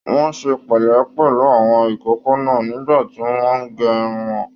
Wọn ṣe pẹlẹ pẹlú àwọn ìkókó náà nígbà tí wọn n gé irun wọn